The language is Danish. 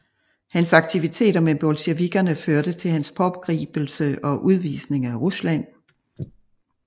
Hans aktiviteter med bolsjevikkerne førte til hans pågribelse og udvisning af Rusland